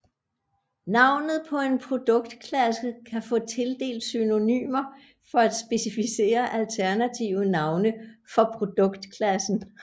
Navnet på en produktklasse kan få tildelt synonymer for at specificere alternative navne for produktklassen